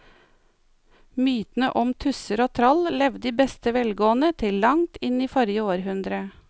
Mytene om tusser og troll levde i beste velgående til langt inn i forrige århundre.